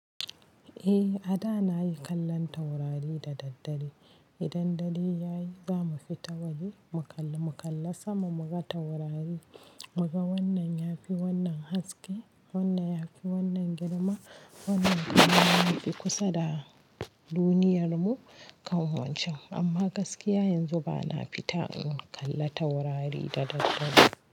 Eh, a da nayi kallon taurari da daddare. Idan dare ya yi za mu fita waje mukalli mu kalla sama, muga taurari, mu ga wannan ya fi wannan haske, wannan ya fi wannan girma, wannan kuma ya fi kusa da duniyarmu kam wancan. Amma gaskiya yanzu ba na fita in kalla taurari da daddare.